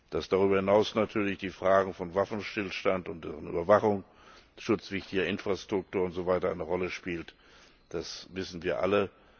Dass darüber hinaus natürlich die Fragen eines Waffenstillstands und der Überwachung schutzwürdiger Infrastruktur und so weiter eine Rolle spielen, das wissen wir alle.